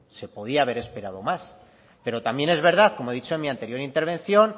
se podía haber esperado más pero también es verdad como he dicho en mi anterior intervención